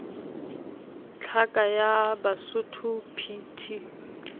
tlhaka ya basotho p t